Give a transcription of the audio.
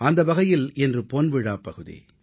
அந்த வகையில் இன்று பொன் விழா பகுதி